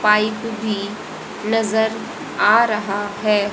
Pipe भी नजर आ रहा है।